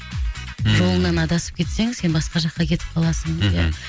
ммм жолыңнан адасып кетсең сен басқа жаққа кетіп қаласың мхм